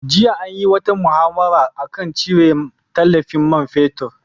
Jiya an yi wata muhawara a kan cire tallafin man fetur.